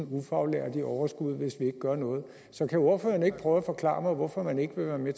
ufaglærte i overskud hvis vi ikke gør noget så kan ordføreren ikke prøve at forklare mig hvorfor man ikke vil være med